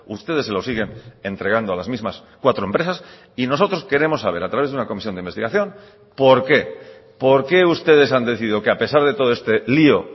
ustedes se lo siguen entregando a las mismas cuatro empresas y nosotros queremos saber a través de una comisión de investigación por qué por qué ustedes han decidido que a pesar de todo este lío